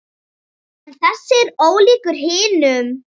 En þessi er ólíkur hinum.